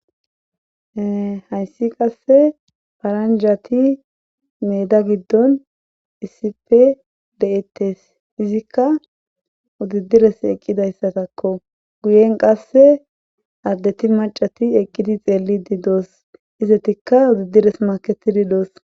Hayssi qasse paranjati meeda giddon issipe de'ettes izikka udidires eqqidayssatakko guyen qasse addeti macati eqqidi xeelli di doos izetikka udidires maketidi doos.